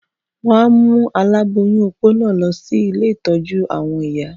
Wọ́n á mú aláboyún opó náà lọ sí ilé ìtọ́jú-àwọn iya.